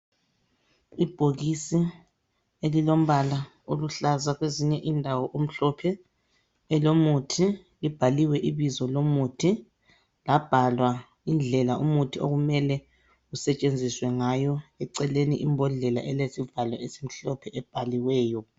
Ibhokisi elilombala oluhlaza kwezinye indawo umhlophe elomuthi ibhaliwe ibizo lomuthi labhalwa indlela umuthi okumele usetshenziswe ngayo eceleni imbodlela elezivalo esimhlophe ebhaliweyo.